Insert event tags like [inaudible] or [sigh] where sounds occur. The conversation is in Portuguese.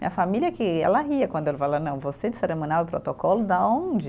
Minha família que ela ria quando, [unintelligible] não, você de cerimonial e protocolo de onde?